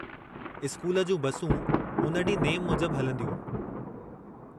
School जूं बसूं उन ॾींहुं नेमु मूजिब हलंदियूं।